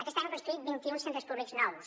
aquest any hem construït vint i un centres públics nous